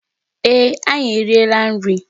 Ee, anyị eriela nri.